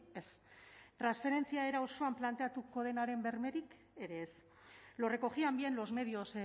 ez transferentzia era osoan planteatuko denaren bermerik ere ez lo recogían bien los medios